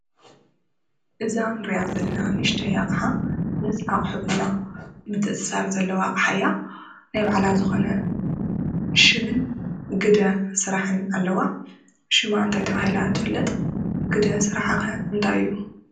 እዛ ንሪኣ ዘለና ንኡሽተይ ኣቕሓ ምስ ኣቑሕትና ምትእስሳር ዘለዋ ኣቕሓ እያ፡፡ ናይ ባዕላ ዝኾነ ሽምን ግደ ስራሕን ኣለዋ፡፡ ሽማ እንታይ ተባሂላ ትፍለጥ? ግደ ስርሓ ኸ እንታይ እዩ?